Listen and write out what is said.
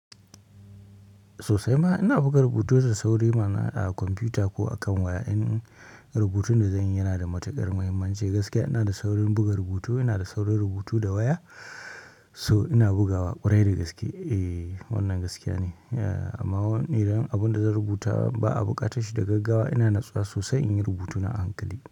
Sosai ma ina buga rubutu da sauri ma na a kwamfuta ko a kan waya. In rubutun da zanyi yana da matuƙar muhimmanci gaskiya ina da saurin buga rubutu, ina da saurin rubutu da waya. So ina bugawa ƙwarai da gaske. E wannan gaskiya ne, amma idan abunda zan rubuta ba a buƙatar shi da gaggawa ina natsuwa sosai in yi rubutuna a hankali.